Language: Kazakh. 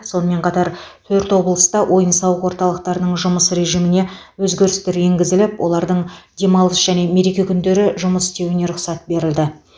сонымен қатар төрт облыста ойын сауық орталықтарының жұмыс режиміне өзгерістер енгізіліп олардың демалыс және мереке күндері жұмыс істеуіне рұқсат берілді